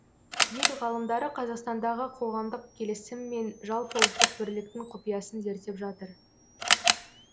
ел ғалымдары қазақстандағы қоғамдық келісім мен жалпыұлттық бірліктің құпиясын зерттеп жатыр